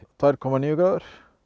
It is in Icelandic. tvö komma níu gráður